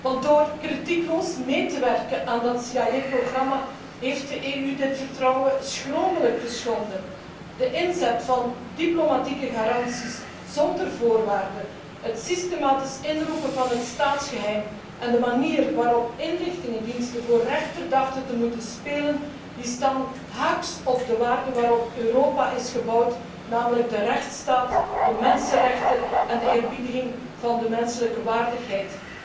Want door kritiekloos mee te werken aan dat CIA programma heeft de EU dit vertrouwen schromelijk geschonden. De inzet van diplomatieke garanties zonder voorwaarden, het systematisch inroepen van het staatsgeheim en de manier waarop inlichtingendiensten voor rechter dachten te moeten spelen, staan haaks op de waarden waarop Europa is gebouwd, namelijk de rechtsstaat, de mensenrechten en de eerbiediging van de menselijke waardigheid.